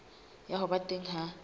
ya ho ba teng ha